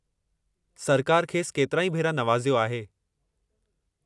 सरकार खेसि केतिराई भेरा नवाज़ियो आहे।